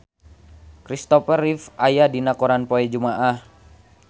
Christopher Reeve aya dina koran poe Jumaah